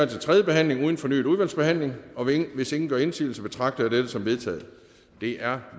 til tredje behandling uden fornyet udvalgsbehandling hvis ingen gør indsigelse betragter jeg dette som vedtaget det er